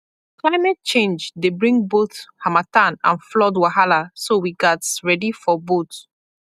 climate change dey bring both harmattan and flood wahala so we gats ready for both